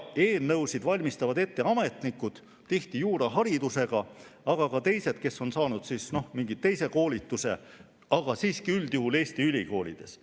Eelnõusid valmistavad ette ametnikud, tihti on nad juuraharidusega, aga on ka neid, kes on saanud koolitust mingil, üldjuhul siiski Eesti ülikoolides.